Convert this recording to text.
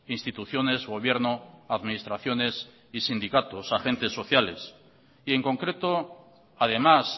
instituciones gobierno administraciones y sindicatos agentes sociales y en concreto además